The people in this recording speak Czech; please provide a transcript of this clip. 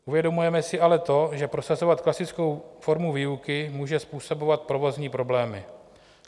Uvědomujeme si ale to, že prosazovat klasickou formu výuky může způsobovat provozní problémy.